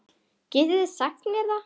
Getið þið sagt mér það?